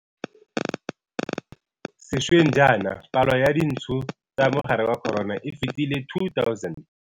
Sešweng jaana, palo ya dintsho tsa mogare wa corona e fetile 2 000.